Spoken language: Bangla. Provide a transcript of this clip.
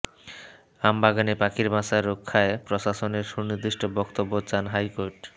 আমবাগানে পাখির বাসা রক্ষায় প্রশাসনের সুনির্দিষ্ট বক্তব্য চান হাইকোর্ট